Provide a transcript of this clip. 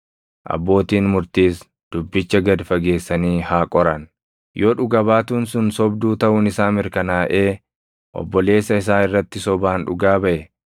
Abbootiin murtiis dubbicha gad fageessanii haa qoran; yoo dhuga baatuun sun sobduu taʼuun isaa mirkanaaʼee obboleessa isaa irratti sobaan dhugaa baʼe,